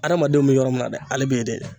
Adamadenw bɛ yɔrɔ min na dɛ ale bɛ yen dɛ